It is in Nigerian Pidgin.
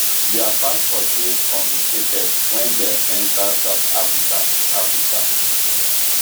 dia passports dey confiscated wen dem enta south africa africa